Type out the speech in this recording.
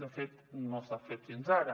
de fet no s’ha fet fins ara